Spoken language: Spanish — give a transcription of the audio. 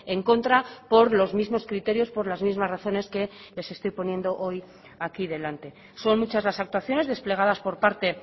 en contra por los mismos criterios por las mismas razones que les estoy poniendo hoy aquí delante son muchas las actuaciones desplegadas por parte